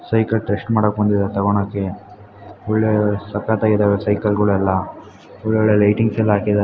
ಇವುಗಳು cycle test ಮಾಡಾಕೆ ಬಂದಿದಾರೆ ತೊಗೋಣಕೆ ಒಳ್ಳೆ ಸಕ್ಕತ್ತಾಗಿದಾವೆ ಸೈಕಲ್ ಗಳೊಲ್ಲ ಒಳ್ಳೆ ಒಳ್ಳೆ ಲೈಟಿಂಗ್ಸ್ ಎಲ್ಲ ಹಾಕಿದ್ದಾ